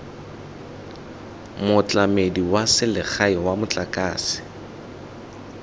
motlamedi wa selegae wa motlakase